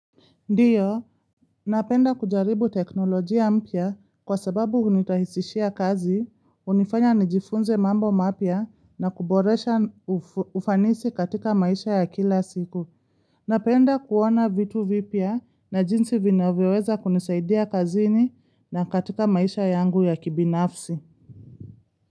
Ndiyo, napenda kujaribu teknolojia mpya kwa sababu hunirahisishia kazi, hunifanya nijifunze mambo mapya na kuboresha ufanisi katika maisha ya kila siku. Napenda kuona vitu vipya na jinsi vinavyoweza kunisaidia kazini na katika maisha yangu ya kibinafsi.